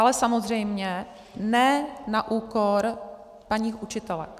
Ale samozřejmě ne na úkor paní učitelek.